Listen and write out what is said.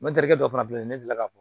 N ma deli dɔw fana filɛ nin ne delila ka